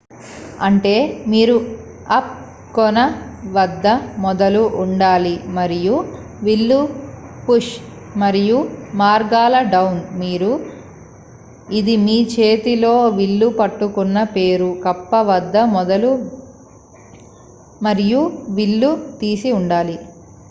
అంటే మీరు అప్ కొన వద్ద మొదలు ఉండాలి మరియు విల్లు పుష్ మరియు మార్గాల డౌన్ మీరు ఇది మీ చేతిలో విల్లు పట్టుకున్న పేరు కప్ప వద్ద మొదలు మరియు విల్లు తీసి ఉండాలి